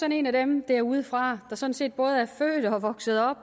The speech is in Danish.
en af dem derudefra der sådan set både er født og vokset op